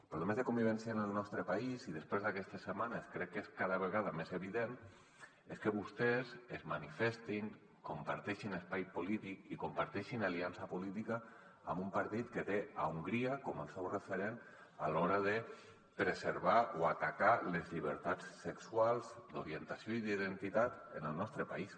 problemes de convivència en el nostre país i després d’aquestes setmanes crec que és cada vegada més evident que vostès es manifestin comparteixin espai polític i comparteixin aliança política amb un partit que té hongria com el seu referent a l’hora de preservar o atacar les llibertats sexuals d’orientació i d’identitat en el nos·tre país